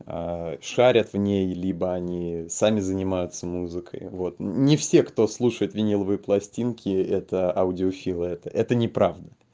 шарят в ней либо они сами занимаются музыкой вот не все кто слушает виниловые пластинки это аудиофилы это это неправда